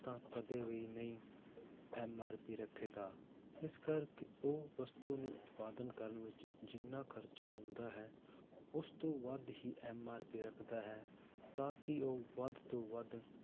ਤਾਂ ਕਦੇ ਵੀ ਨਹੀਂ MRP ਰੱਖੇਗਾ ਇਸ ਕਰਕੇ ਉਹ ਵਸਤੂ ਨੂੰ ਉਤਪਾਦਨ ਕਰਨ ਵਿੱਚ ਜਿੰਨਾ ਖ਼ਰਚ ਹੁੰਦਾ ਹੈ, ਉਸ ਤੋਂ ਵੱਧ ਹੀ MRP ਰੱਖਦਾ ਹੈ ਤਾਂ ਕਿ ਉਹ ਵੱਧ ਤੋਂ ਵੱਧ